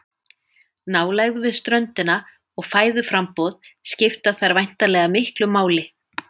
Nálægð við ströndina og fæðuframboð skipta þar væntanlega miklu máli.